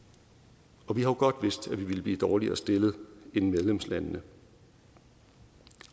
vi har jo godt vidst at vi ville blive dårligere stillet end medlemslandene